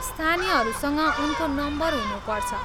स्थानीयहरूसँग उनको नम्बर हुनुपर्छ।